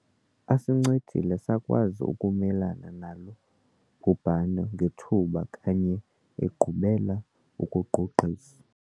Asincedile sakwazi ukumelana nalo bhubhane ngethuba kanye egqubela ukugqugqisa.